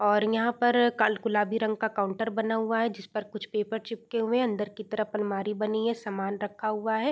और यहाँ पर गुलाबी रंग का काउंटर बना हुआ है जिसपर कुछ पेपर चिपके हुए हैं। अंदर की तरफ अलमारी बनी है। सामान रखा हुआ है।